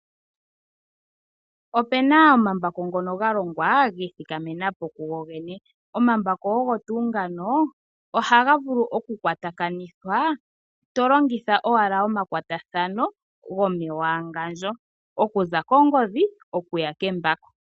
Ope na omambako ngono ga longwa gi ithikamena po kugogene, omambako ogo tuu ngano ohaga vulu okukwatakanithwa to longitha owala omakwatathano gomewangandjo okuza kongodhi okuya kembako.